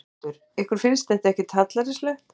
Þórhildur: Ykkur finnst þetta ekkert hallærislegt?